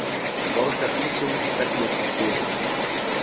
Borgarísinn stefnir í suður